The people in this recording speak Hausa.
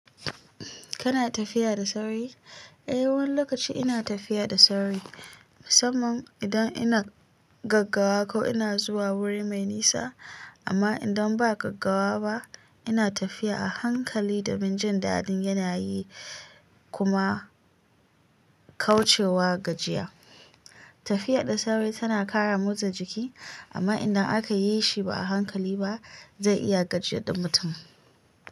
Kana tafiya da sauri? Eh, wani lokaci ina tafiya da sauri, musamman idan ina gaggawa ko ina zuwa wuri mai nisa. Amma idan ba gaggawa ba, ina tafiya a hankali domin jin daɗin yanayi kuma kauce wa gajiya. Tafiya da sauri tana ƙara motsa jiki, amma idan aka yi shi ba a hankali ba, zai iya gajiyar ɗa mutum.